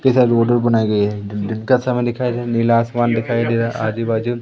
इधर रोड वोड भी बनाई गई है दिन का समय दिखाई दे रहा नीला आसमान भी दिखाई दे रहा है आजू-बाजू --